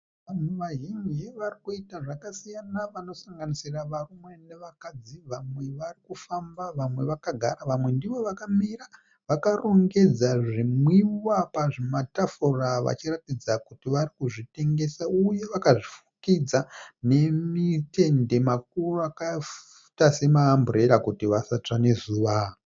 Vanhu vazhinji varikuita zvakasiyana vanosanganisira varume nevakadzi ,vamwe varikufamba vamwe vakagara vamwe ndivo vakamira vakarongedza zvimwiwa pazvimatafura vachiratidza kuti varikuzvitengesa uye vakazvifukidza nematende makuru akaita semaamburera kuti vasatsva nezuva.